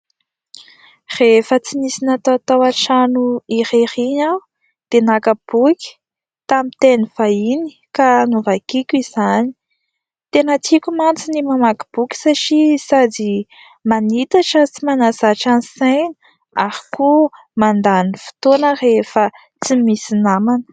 Rehefa tsy nisy natao tao an-trano irery iny aho dia naka boky tamin'ny teny vahiny ka novakiako izany dia tena tiako mantsy ny mamaky boky satria sady manitatra sy manazatra ny saina ary koa mandany fotoana rehefa tsy misy namana.